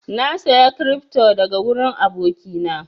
Na saya cryfto daga wurin aboki na